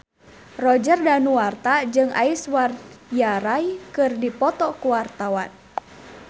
Roger Danuarta jeung Aishwarya Rai keur dipoto ku wartawan